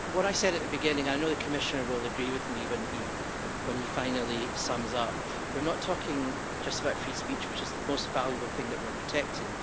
What I said at the beginning and I know that the Commissioner will agree with me when he finally sums up is that we're not talking just about free speech, which is the most valuable thing that we are protecting